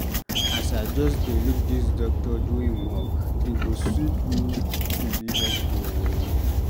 As I just dey look dis doctor do im work, e go sweet me to be doctor o.